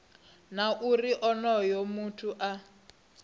na uri onoyo muthu a